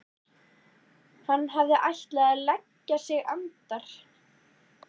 Hann hafði ætlað að leggja sig andar